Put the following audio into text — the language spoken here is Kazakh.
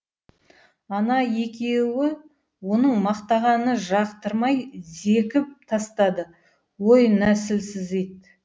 ана екеуі оның мақтағаны жақтырмай зекіп тастады ой нәсілсіз ит